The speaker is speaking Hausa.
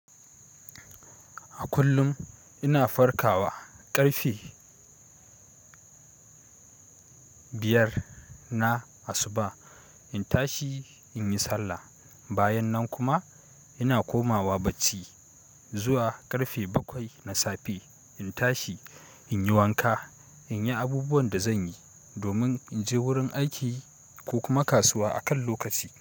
A kullum ina farkawa ƙarfe biyar na asuba, in tashi in yi sallah. Bayan nan kuma, ina komawa bacci, zuwa ƙarfe bakwai na safe. In tashi in yi wanka, in yi abubuwan da zan yi, domin in je wurin aiki ko kuma kasuwa akan lokaci.